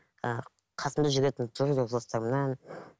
ыыы қасымда жүретін жора жолдастарымнан